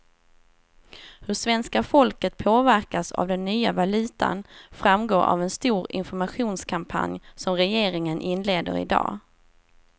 Hur svenska folket påverkas av den nya valutan framgår av en stor informationskampanj som regeringen inleder i dag.